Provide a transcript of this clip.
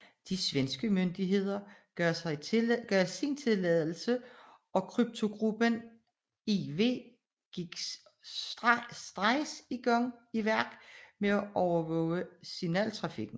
De svenske myndigheder gav sin tilladelse og Kryptogruppe IV gik straks i værk med at overvåge signaltrafikken